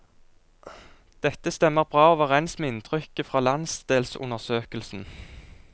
Dette stemmer bra overens med inntrykket fra landsdelsundersøkelsen.